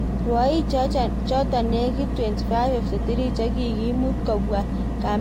Rwaichoto nekitei 2553 chekikimut kopwa kambit nitok atonone ngunoo